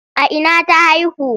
A ina ta haihu?